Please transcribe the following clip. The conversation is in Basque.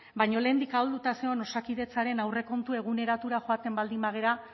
baina lehendik ahulduta zegoen osakidetzaren aurrekontu eguneratura joaten baldin bagara